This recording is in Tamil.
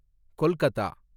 கொல்கதா